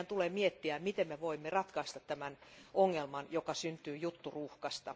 Meidän tulee miettiä, miten me voimme ratkaista tämän ongelman, joka syntyy jutturuuhkasta.